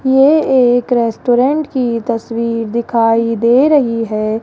ये एक रेस्टोरेंट की तस्वीर दिखाई दे रही है।